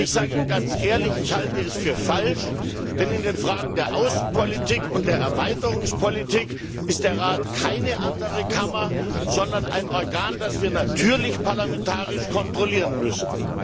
Ich sage Ihnen ganz ehrlich Ich halte es für falsch, denn in den Fragen der Außenpolitik und der Erweiterungspolitik ist der Rat keine andere Kammer, sondern ein Organ, das wir natürlich parlamentarisch kontrollieren müssen!